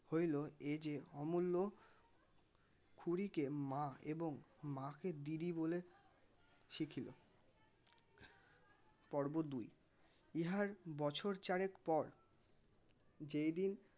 হইলো এই যে অমুল্য খুড়িকে মা এবং মা কে দিদি বলে শিখিল পর্ব দুই ইহার বছর চারেক পর যেই দিন